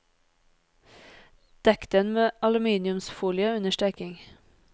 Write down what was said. Dekk den med aluminiumsfolie under steking.